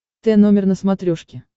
т номер на смотрешке